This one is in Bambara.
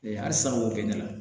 halisa wo bɛnnɛ la